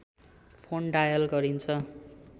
phone dial गरिन्छ